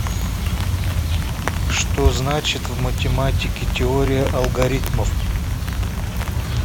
что значит в математике теория алгоритмов